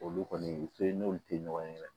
Olu kɔni u tɛ n'olu tɛ ɲɔgɔn ye dɛ